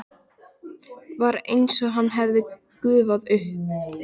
Var einsog hann hefði gufað upp.